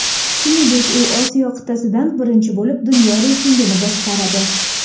Shuningdek, u Osiyo qit’asidan birinchi bo‘lib dunyo reytingini boshqaradi.